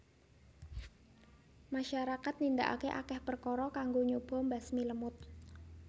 Masyarakat nindakake akeh perkara kanggo nyoba mbasmi lemut